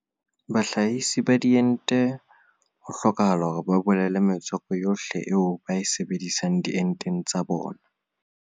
Bahlahise ba diente ho hlokahala hore ba bolele metswako yohle eo ba e sebedisang dienteng tsa bona